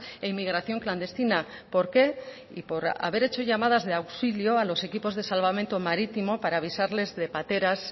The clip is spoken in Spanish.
e inmigración clandestina por qué y por haber hecho llamadas de auxilio a los equipos de salvamento marítimo para avisarles de pateras